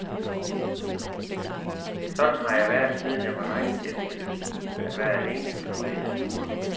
Sådan har jeg været, siden jeg var dreng, elsket at være alene ude i naturen.